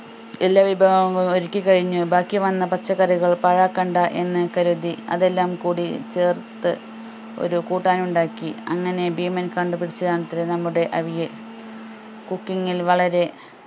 എല്ലാ വിഭവങ്ങളും ഒരുക്കി കഴിഞ്ഞു ബാക്കി വന്ന പച്ചക്കറികൾ പാഴാക്കണ്ട എന്നു കരുതി അതെല്ലാം കൂടി ചേർത്ത് ഒരു കൂട്ടാൻ ഉണ്ടാക്കി അങ്ങനെ ഭീമൻ കണ്ടു പിടിച്ചതാണത്രേ നമ്മുടെ അവിയൽ cooking ൽ വളരെ